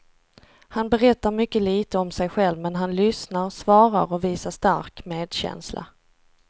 Han berättar mycket lite om sig själv men han lyssnar, svarar och visar stark medkänsla.